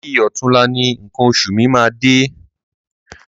Bi ọ̀túnla ni nǹkan oṣù mi máa dé.